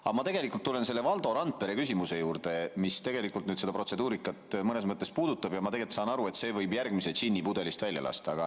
Aga ma tulen Valdo Randpere küsimuse juurde, mis seda protseduurikat mõnes mõttes puudutab, ja ma saan aru, et see võib järgmise džinni pudelist välja lasta.